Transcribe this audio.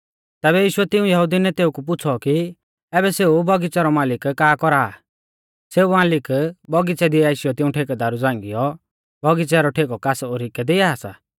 तैबै यीशुऐ तिऊं यहुदी नेतेउ कु पुछ़ौ कि ऐबै सेऊ बौगिच़ै रौ मालिक का कौरा आ सेऊ मालिक बौगिच़ै दी आशीयौ तिऊं ठेकेदारु झ़ंगाईयौ बौगिच़ै रौ ठेकौ कास ओरी कै दिआ सा